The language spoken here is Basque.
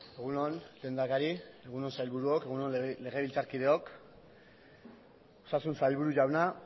egun on lehendakari egun on sailburuok egun on legebiltzarkideok osasun sailburu jauna